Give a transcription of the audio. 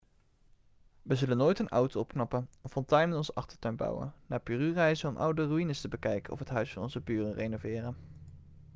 we zullen nooit een auto opknappen een fontein in onze achtertuin bouwen naar peru reizen om oude ruïnes te bekijken of het huis van onze buren renoveren